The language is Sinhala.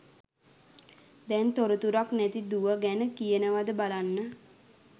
දැං තොරතුරක් නැති දුව ගැන කියනවද බලන්න